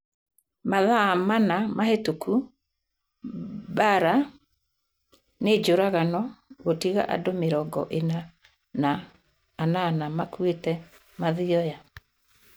Mathaa mana mahĩtũku Mbaara nĩ njũragano gũtiga andũ mĩrongo ina na inana makuĩte Mathioya